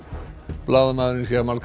blaðamaðurinn